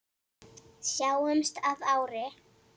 Sjáumst að ári.